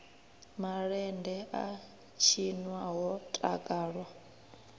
malende a tshinwa ho takalwa